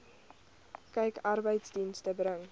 kyk arbeidsdienste bring